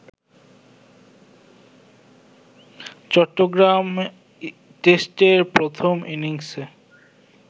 চট্টগ্রাম টেস্টের প্রথম ইনিংসে